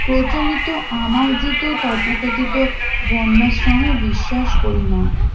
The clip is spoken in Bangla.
প্রচলিত আমার জেতু তথা কথিত বর্নাশ্রমে বিশ্বাস করিনা